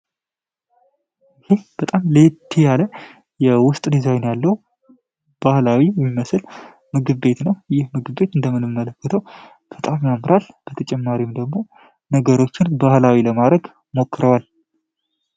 ይህ በጣም ሌቲ ያለ የውስጥ ዲዛይን ያለው ባህላዊ የሚመስል ምግብቤት ነው ይህ ምግቤት እንደምንምመልክተው ከጣም ያምራል በተጨማሪም ደግሞ ነገሮችን ባህላዊ ለማድረግ ሞክረዋል፡፡